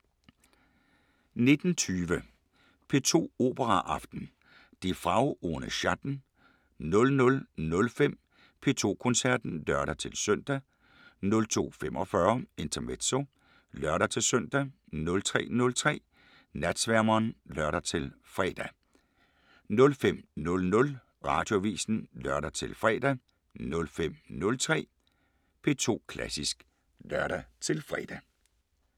19:20: P2 Operaaften: Die Frau ohne Schatten 00:05: P2 Koncerten (lør-søn) 02:45: Intermezzo (lør-søn) 03:03: Natsværmeren (lør-fre) 05:00: Radioavisen (lør-fre) 05:03: P2 Klassisk (lør-fre)